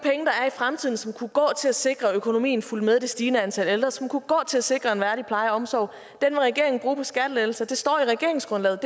fremtiden som kunne gå til at sikre at økonomien fulgte med det stigende antal ældre som kunne gå til at sikre en værdig pleje og omsorg vil regeringen bruge på skattelettelser det står i regeringsgrundlaget